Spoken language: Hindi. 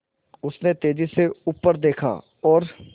उसने तेज़ी से ऊपर देखा और